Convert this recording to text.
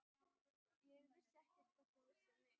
Ég vissi ekkert hvort hún vissi um mig.